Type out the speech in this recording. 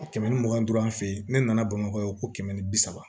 A kɛmɛ ni mugan ni duuru an fɛ yen ne nana bamakɔ yan ko kɛmɛ ni bi saba